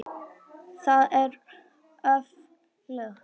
Það er öflugt.